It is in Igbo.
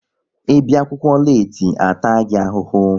Ị bịa akwụkwọ leeti, a taa gị ahụhụ!